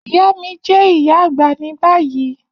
Iya mi jẹ iya agba ni bayi